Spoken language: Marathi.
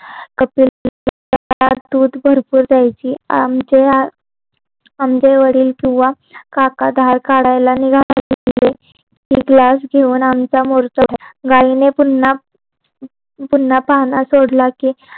दूध भरपूर द्यायची आमचे आमचे वडील किंवा काका धार काढायला निघाले कि ते GLASS घेऊन आमच्या मोरचा गायीने पुन्हा पुन्हा पाणा सोडला कि